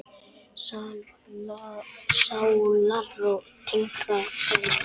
Sálarró tengdra sála.